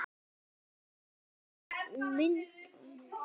Hvernig myndast jöklar?